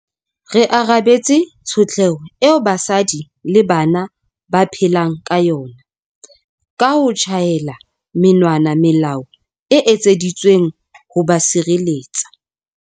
Re arabetse tshotleho eo basadi le bana ba phelang ka yona ka ho tjhaela monwana melao e etseditsweng ho ba sireletsa.